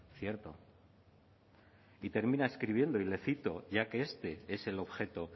cierto y terminar escribiendo y le cito ya que este es el objeto